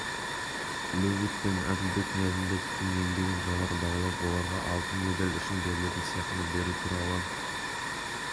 левит пен әділбек ниязымбетовтің еңбегін жоғары бағалап оларға алтын медаль үшін берілетін сыйақыны беру туралы